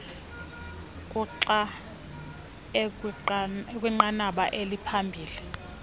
kuxa ekwinqanaba eliphambili